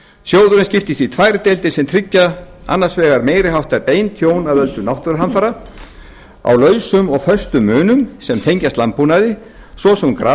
sjóðurinn skiptist í tvær deildir sem tryggja annars vegar meiri háttar bein tjón af völdum náttúruhamfara á lausum og föstum munum sem tengjast landbúnaði svo sem grasbrest